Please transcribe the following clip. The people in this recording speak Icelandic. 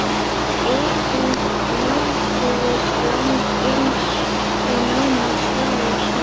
Skipin nálguðust land, uns þau námu staðar skammt vestan við